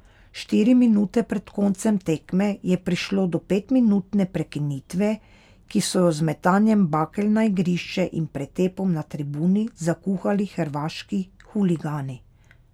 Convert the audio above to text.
Štiri minute pred koncem tekme je prišlo do petminutne prekinitve, ki so jo z metanjem bakel na igrišče in pretepom na tribuni zakuhali hrvaški huligani.